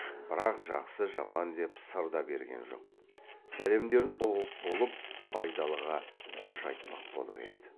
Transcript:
бірақ жақсы жаман деп сыр да берген жоқ сәлемдерін ұғып болып байдалыға қош айтпақ болып еді